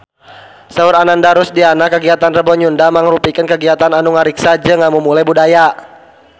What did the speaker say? Saur Ananda Rusdiana kagiatan Rebo Nyunda mangrupikeun kagiatan anu ngariksa jeung ngamumule budaya Sunda